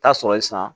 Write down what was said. Taa sɔrɔ ye sisan